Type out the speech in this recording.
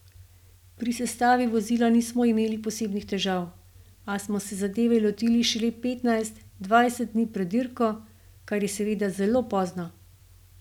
Pri sestavi vozila nismo imeli posebnih težav, a smo se zadeve lotili šele petnajst, dvajset dni pred dirko, kar je seveda zelo pozno.